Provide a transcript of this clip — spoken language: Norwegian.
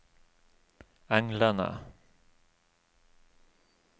englene